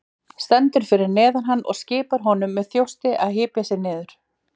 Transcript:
Stendur fyrir neðan hann og skipar honum með þjósti að hypja sig niður.